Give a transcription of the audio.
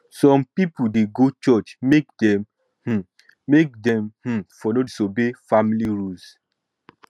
some pipol dey go church make dem um make dem um for no disobey family rules